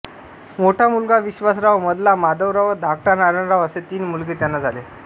मोठा मुलगा विश्वासराव मधला माधवराव व धाकटा नारायणराव असे तीन मुलगे त्यांना झाले